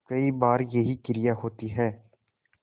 कई बार यही क्रिया होती है